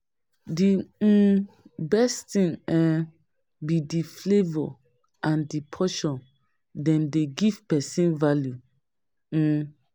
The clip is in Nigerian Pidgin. Di um best thing um be di flavor and di portion, dem dey give pesin value. um